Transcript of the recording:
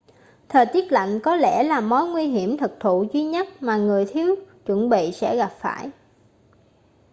thời tiết lạnh có lẽ là mối nguy hiểm thực thụ duy nhất mà người thiếu chuẩn bị sẽ gặp phải